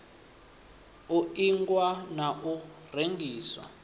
u ingwa na u rengiswa